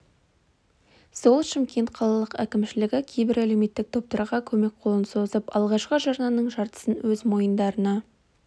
сол шымкент қалалық әкімшілігі кейбір әлеуметтік топтарға көмек қолын созып алғашқы жарнаның жартысын өз мойындарына